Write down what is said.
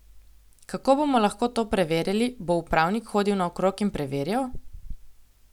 Kako bomo lahko to preverjali, bo upravnik hodil naokrog in preverjal?